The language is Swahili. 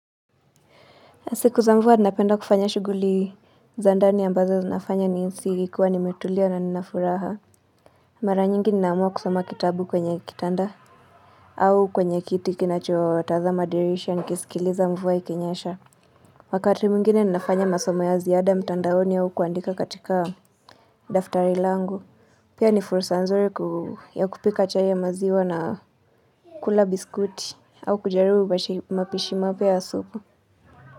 Siku za mvua napenda kufanya shughuli za ndani ambazo zinafanya nihisi nikiwa nimetulia na nina furaha. Mara nyingi ninaamua kusoma kitabu kwenye kitanda au kwenye kiti kinachotazama dirisha nikisikiliza mvua ikinyesha. Wakati mwingine ninafanya masoma ya ziada mtandaoni au kuandika katika daftari langu. Pia ni fursa nzuri ya kupika chai ya maziwa na kula biskuti au kujaribu mapishi mapya ya supu.